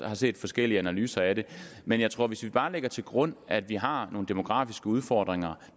har set forskellige analyser af det men jeg tror at hvis vi bare lægger til grund at vi har nogle demografiske udfordringer